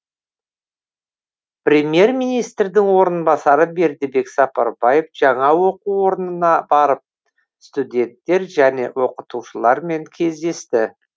премьер министрдің орынбасары бердібек сапарбаев жаңа оқу орнына барып студенттер және оқытушылармен кездесті